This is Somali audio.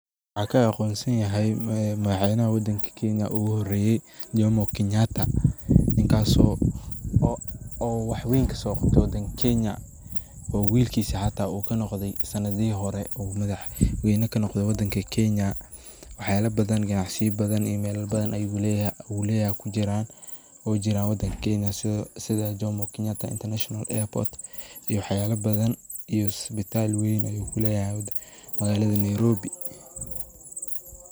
Waxaa ka aqoonsanyahay madaxweeyna wadanka keenya ugu horayi jomo keenyataa ninkaso oo wax weeyn kaso Qabteey wadanka keenya oo willasha xata oo kanoqday sanathi hori oo madaxa weeyna oo kanoqday wadanki keenya waxalay bathan Qanacsu bathan iyo meelaha bathan ayu leeyahay kujiran setha jomo kenyataa international airport iyo waxyala bathan iyo isbitaal weeyn ayu leeyahay wadanka magalada Nairobi .